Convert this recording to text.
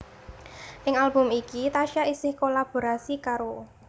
Ing album iki Tasya isih kolaborasi karo